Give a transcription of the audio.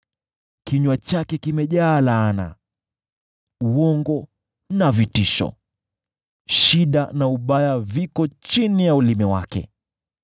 Kinywa chake kimejaa laana, uongo na vitisho; shida na ubaya viko chini ya ulimi wake.